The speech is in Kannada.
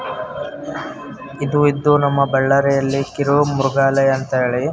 ಇದು ಇದು ನಮ್ಮ ಬಳ್ಳಾರಿಯಲ್ಲಿ ಕಿರೊ ಮ್ರಗಾಲಯ ಅಂತೇಳಿ --